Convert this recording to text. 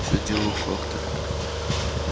все дело в факторе